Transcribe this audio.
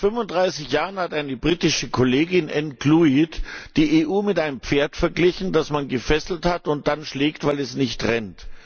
Vor fast 35 Jahren hat eine britische Kollegin, Ann Clwyd, die EU mit einem Pferd verglichen, das man gefesselt hat und dann schlägt, weil es nicht rennt.